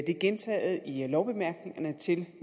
det er gentaget i lovbemærkningerne til